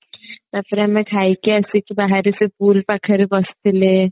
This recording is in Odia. ତାପରେ ଆମେ ଖାଇକି ଆସିକି ବାହାରେ ସେ pool ପାଖରେ ବସିଥିଲେ